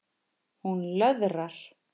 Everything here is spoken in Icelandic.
Hún löðrar.